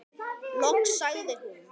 Loks sagði hún: